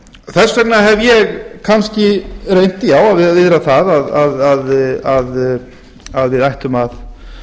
vegna hef ég kannski reynt að viðra að við ættum að